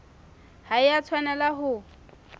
ha e a tshwanela ho